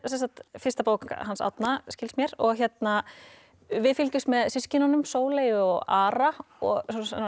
fyrsta bók Árna skilst mér við fylgjumst með systkinunum Sóley og Ara og